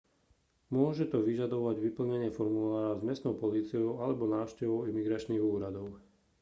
môže to vyžadovať vyplnenie formulára s miestnou políciou alebo návštevu imigračných úradov